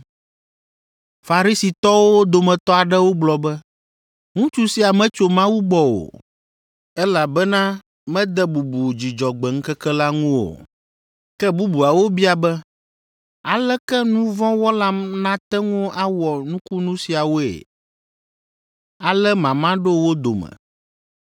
Farisitɔwo dometɔ aɖewo gblɔ be, “Ŋutsu sia metso Mawu gbɔ o, elabena mede bubu Dzudzɔgbe ŋkeke la ŋu o.” Ke bubuawo bia be, “Aleke nu vɔ̃ wɔla nate ŋu awɔ nukunu siawoe?” Ale mama ɖo wo dome.